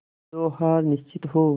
जो हार निश्चित हो